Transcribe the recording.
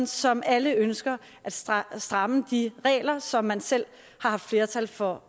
som alle ønsker at stramme stramme de regler som man selv havde flertal for